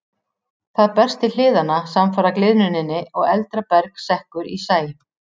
Það berst til hliðanna samfara gliðnuninni og eldra berg sekkur í sæ.